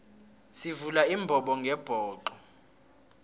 sivula imbobongebhoxo